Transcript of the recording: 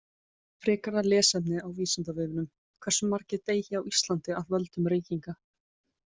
Frekara lesefni á Vísindavefnum: Hversu margir deyja á Íslandi af völdum reykinga?